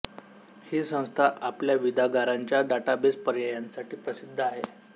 ही संस्था आपल्या विदागारांच्या डाटाबेस पर्यायांसाठी प्रसिद्ध आहे